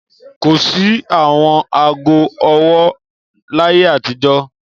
Kò sí àwọn ago-ọwọ́ láyé àtijọ́.